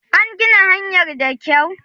An gina hanyar da kyau?